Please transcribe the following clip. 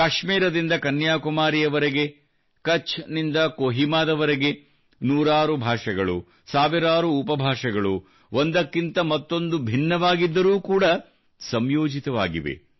ಕಾಶ್ಮೀರದಿಂದ ಕನ್ಯಾಕುಮಾರಿಯವರೆಗೆ ಕಛ್ ನಿಂದ ಕೋಹಿಮಾದವರೆಗೆ ನೂರಾರು ಭಾಷೆಗಳು ಸಾವಿರಾರು ಉಪ ಭಾಷೆಗಳು ಒಂದಕ್ಕಿಂತ ಮತ್ತೊಂದು ಭಿನ್ನವಾಗಿದ್ದರೂ ಕೂಡಾ ಸಂಯೋಜಿತವಾಗಿವೆ